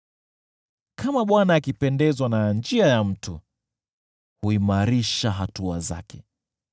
Kama Bwana akipendezwa na njia ya mtu, yeye huimarisha hatua zake,